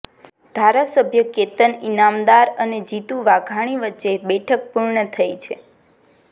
ધારાસભ્ય કેતન ઇનામદાર અને જીતુ વાઘાણી વચ્ચે બેઠક પૂર્ણ થઇ છે